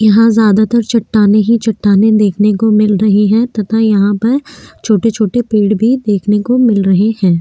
यहाँ ज्यादा तर चटाने ही चटाने देखने को मिल रही है तथा यहाँ पर छोटे छोटे पेड़ भी देखने को मिल रहे है।